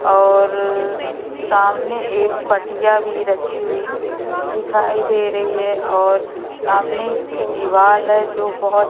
और सामने एक पटिया भी रखी हुई दिखाई दे रही है और सामने की दीवार है जो बहुत--